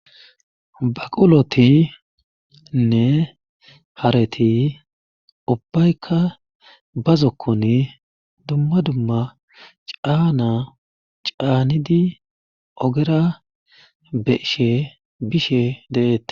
Baqulotinne hareti ubbaykka bazokkon dumma dumma caana caanidi ogera beshe bishe deeette.